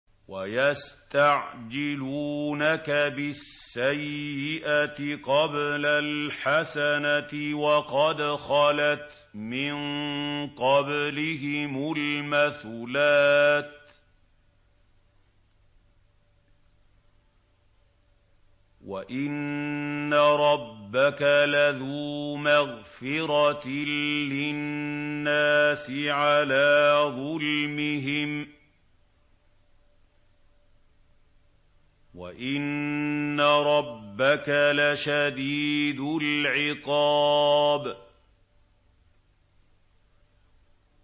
وَيَسْتَعْجِلُونَكَ بِالسَّيِّئَةِ قَبْلَ الْحَسَنَةِ وَقَدْ خَلَتْ مِن قَبْلِهِمُ الْمَثُلَاتُ ۗ وَإِنَّ رَبَّكَ لَذُو مَغْفِرَةٍ لِّلنَّاسِ عَلَىٰ ظُلْمِهِمْ ۖ وَإِنَّ رَبَّكَ لَشَدِيدُ الْعِقَابِ